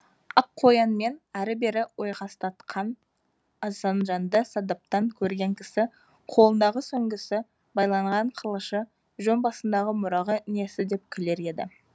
аққоянмен әрі бері ойқастатқан асанжанды садаптан көрген кісі қолындағы сүңгісі байланған қылышы жөн басындағы мұрағы несі деп күлер еді